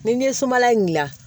Ni n ye sumala in dilan